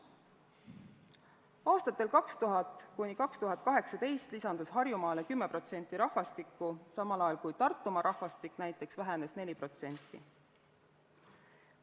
Aastatel 2000–2018 lisandus Harjumaale 10% rahvastikku, samal ajal kui Tartumaa rahvastik näiteks vähenes 4%.